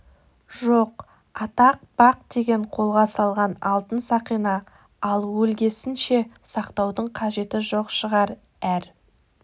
жоқ атақ бақ деген қолға салған алтын сақина ал өлгесін ше сақтаудың қажеті жоқ шығар әр